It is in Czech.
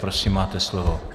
Prosím, máte slovo.